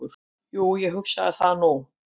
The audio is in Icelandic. """Jú, ég hugsa það nú."""